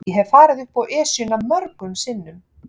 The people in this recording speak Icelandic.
Ég hef farið upp Esjuna mörgum sinnum.